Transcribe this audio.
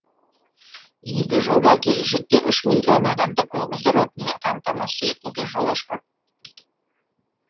игі жоба келешекте үш миллион адамды көгілдір отынмен қамтамасыз етуге жол ашпақ